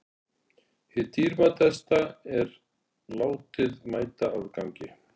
Hið dýrmætasta er látið mæta afgangi.